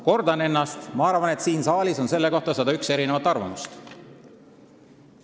Kordan ennast: ma arvan, et siin saalis on selle kohta 101 arvamust.